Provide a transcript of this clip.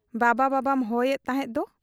ᱵᱟᱵᱟ ᱵᱟᱵᱟᱢ ᱦᱚᱦᱚᱭᱮᱫ ᱛᱟᱦᱮᱸᱫ ᱫᱚ ?